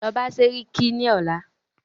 Lọ bá sẹ́ríkí ní ọ̀la!